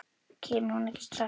Kemur hún ekki strax?